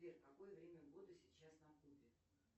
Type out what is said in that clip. сбер какое время года сейчас на кубе